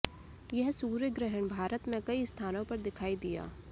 यह सूर्य ग्रहण भारत में कई स्थानों पर दिखाई दिया